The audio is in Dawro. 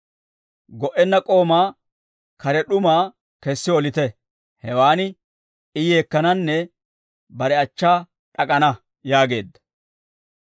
Go"enna k'oomaa kare d'umaa kessi olite; hewaan I yeekkananne bare achchaa d'ak'ana› yaageedda.